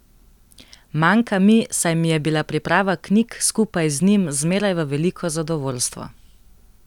Manjka mi, saj mi je bila priprava knjig skupaj z njim zmeraj v veliko zadovoljstvo.